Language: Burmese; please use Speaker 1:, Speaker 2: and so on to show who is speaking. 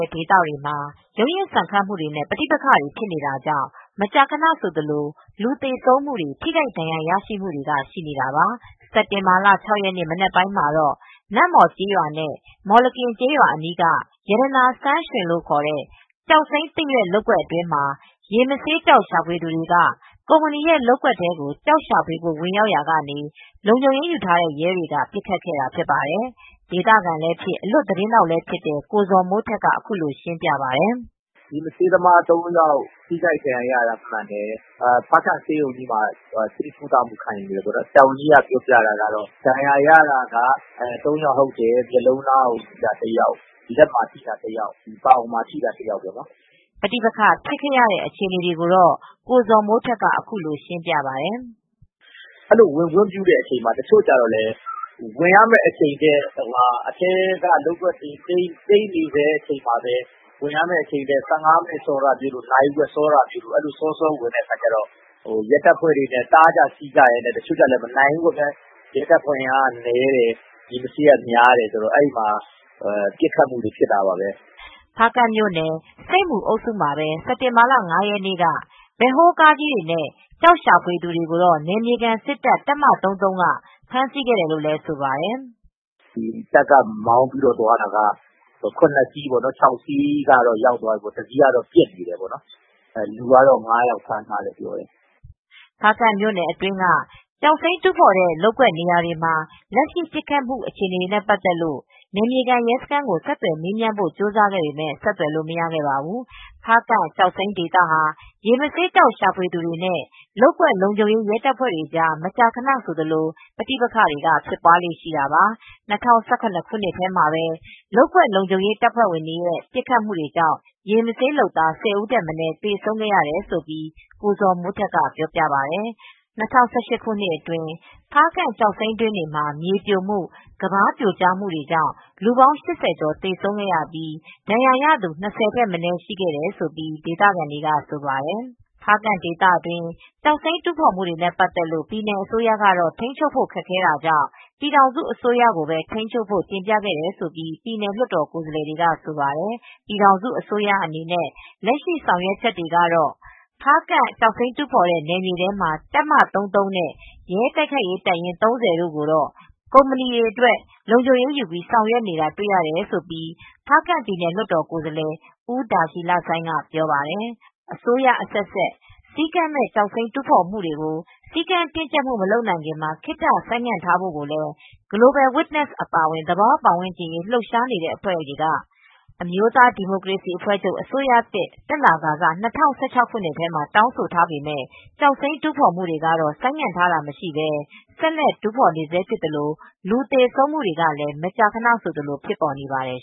Speaker 1: ဲ့ဒေသတွေမှာရုန်းရင်းဆန်ခတ်မူတွေနဲ့ ပဋိပက္ခတွေဖြစ်နေတာကြောင့် မကြာခဏဆိုသလို လူသေဆုံးမူတွေထိခိုက်ဒဏ်ရာရမူတွေက ရှိနေတာပါ။ စက်တင်ဘာလ ၆ ရက်နေ့ မနက်ပိုင်းမှာတော့ နမ့်မှော်ကျေးရွာ နဲ့မော်လကင်ကျေးရွာအနီးက ရတနာစမ်းရွှင်လို့ခေါ်တဲ့ ကျောက်စိမ်းသစ်ရွက် လုပ်ကွက်အတွင်းမှာ ရေမဆေးကျောက် ရှာဖွေသူတွေက ကုမ္ပဏီရဲလုပ်ကွက်ထဲကို ကျောက်ရှာဖွေဖို့ ဝင်ရောက်ရာကနေ လုံခြုံရေးယူထားတဲ့ ရဲတွေက ပစ်ခတ်ခဲ့တာဖြစ်ပါတယ်။ ဒေသခံလည်း အလွတ်သတင်းထောက်လည်းဖြစ်တဲ့ ကိုဇော်မိုးထက်က အခုလိုရှင်းပြပါတယ်။
Speaker 2: "ရေမဆေးသမား ၃ယောက် ထိခိုက်ဒဏ်ရာရတယ် မှန်တယ်။ ဖားကန့် ဆေးရုံကြီးမှာဆေးကုသမူခံယူနေတယ်။ ဆရာဝန်ကြီးပြောတာကတော့ ဒဏ်ရာရတာက ၃ ယောက်ဟုတ်တယ် မျက်လုံးနားမှာထိတာတယောက်၊ ပေါင်မှာထိတာတယောက် ၊လက်မှာထိတာတယောက် လို့ပြောတယ ်
Speaker 1: " ပဋိပက္ခဖြစ်ရတဲ့အခြေအနေကိုတော့ ကိုဇော်မိုးထက်က အခုလိုရှင်းပြပါတယ်။
Speaker 2: "ဝင်ခွင့်ပြုတဲ့အချိန်မှာ တချို့ကျတော့လည်း ဝင်ရမယ့်အချိန်ထက် အထဲက လုပ်ကွက်တွေ သိမ်းနေစဲအချိန်မှာပဲ နာရီဝက်စောဝင်တာမျိုး ၁၅မိနစ်လောက်စောဝင်တာမျိုး၊ စောစော ဝင်တာမျိုးဆိုတော့ ရဲတပ်ဖွဲဝင်တွေနဲ့ တားကြဆီးကြနဲ့ မနှုင်ဘူးပေါ့ခင်ဗျ။ ရဲတပ်ဖွဲဝင်အင်အားက နည်းတယ် ။ ရေမဆေးက များတယ်ဆိုတော့ ပစ်ခတ်မှုတွေဖြစ်ကြတာပဲ
Speaker 1: " ဖားကန့်မြို့နယ် ဆိပ်မူအုပ်စုမှာပဲ စက်တင်ဘာလ ၅ရက်နေ့ က ဘက်ဟိုးကားကြီးတွေနဲ့ ကျောက်ရှာဖွေသူတွေကိုတော့ နယ်မြေခံစစ်တပ်တပ်မ ၃၃က ဖမ်းဆီးခဲ့တယ်လို့ လည်းဆိုပါတယ်
Speaker 2: "တပ်က မောင်းပြီးသွားတာက ၇စီး၊ ၆စီး ကတော့ရောက်သွားပြီ တစီးကတော့ပျက်နေတယ် လူကတော့ ၅ယောက်ကို ဖမ်းထားတယ်"
Speaker 1: ဖားကန့်မြို့နယ်အတွင်းက ကျောက်စိမ်းတူးဖော်တဲ့နေရာတွေမှာ လက်ရှိပစ်ခတ်မူဖြစ်တဲ့အခြေအနေတွေနဲ့ ပတ်သက်လို့ နယ်မြေခံရဲစခန်းကို ဆက်သွယ်မေးမြန်းဖိုကြိုစားခဲ့ပေမဲ့ဆက်သွယ်လို့မရသေးပါဘူး။ ဖားကန့်ကျောက်စိမ်းဒေသဟာ ရေမဆေးကျောက်ရှာဖွေသူတွေနဲ့ လုပ်ကွက်လုံခြုံရေး ရဲတပ်ဖွဲ့ကြား မကြာခဏဆိုသလို ပဋ္ဋိပက္ခဖြစ်ပွားလေ့ရှိတာပါ၂၀၁၇ ခုနှစ်ထဲမှာပဲ လုပ်ကွက်လုံခြုံရေး တပ်ဖွဲ့ဝင်တွေရဲ့ ပစ်ခတ်မူကြောင့် ရေမဆေးလုပ်သား ၁၀ဦးထက်မနည်းသေဆုံးခဲ့တယ်လို့ကိုဇော်မိုးထက်ကပြောပြပါတယ်။ ၂၀၁၈ ခုနှစ်အတွင်း ဖားကန့်ကျောက်စိမ်းတွင်းတွေမှာ မြေပြိုမှု ၊ကမ်းပါးပြိုကျမှု လူပေါင်း ကျော်သေဆုံးခဲ့ပြီး ဒဏ်ရာရသူ ထက်မနည်းရှိနေပြီလိုလည်း ဒေသခံဆိုပါတယ်။ ဖားကန့်ဒေသတွင်းကျောက်စိမ်းတူးဖော်မူတွေနဲ့ ပတ်သက်လို့ ပြည်နယ်အစိုးရတော့ထိမ်းချုပ်ဖို့ ခက်ခဲတာကြောင့် ပြည်ထောင်စုအစိုးရကိုပဲ ထိန်းချုပ်ဖို့ တင်ပြခဲ့တယ်လို့ ပြည်နယ်လွတ်တော်ကိုယ်စားလှယ် တွေက ဆိုပါတယ်။ ပြည်ထောင်စုအစိုးရအနေနဲ့ လက်ရှိဆောင်ရွက်ချက်တွေကတော့ ဖားကန့် ကျောက်စိမ်းတူးဖော်တဲ့ နယ်မြေထဲမှာ တပ်မ ၃၃နဲ့ ရဲ တိုက်ခိုက်ရေးတပ်ရင်း ၃၀ ကိုတော့ ကုမ္ပဏီတွေအတွက် လုံခြုံရေးယူပြီးဆောင်ရွက်နေတာတွေတော့ရှိတယ် ။ ဖားကန့်ပြည်နယ်လွတ်တော်ကိုယ်စားလှယ်ဦးဒါရှီလဆိုင်းကဆိုပါတယ်။ အစိုးရ အဆက်ဆက် စည်းကမ်းမဲ့ ကျောက်စိမ်းတူးဖော်မှုတွေကို စည်းကမ်းတင်းကျပ်မှု မလုပ်နိုင်ခင်မှာ ခေတ္တဆိုင်းငံ့ထားဖို့ကိုလည်း Global Witness အပါအဝင် သဘာ၀ ပတ်ဝန်းကျင် အရေး လှုပ်ရှားနေတဲ့ အဖွဲ့တွေက အမျိုးသားဒီမိုကရေစီအဖွဲ့ချုပ် အစိုးရသစ် တက်လာကစကတော့ ၂၀၁၆ခုနှစ်ထဲမှာ တောင်းဆိုထားပေမဲ့ ကျောက်စိမ်းတူးဖော်မူတွေကတော့ ဆိုင်းငံ့ထားတာမရှိပဲဆက်လက်တူးဖော်နေဆဲဖြစ်သလို့လူသေဆုံးမူတွေကလည်းမကြာခဏဆိုသလိုဖြစ်ပေါ်နေပါတယ်